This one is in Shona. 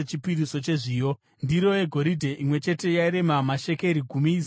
Ndiro yegoridhe imwe chete yairema mashekeri gumi, izere nezvinonhuhwira;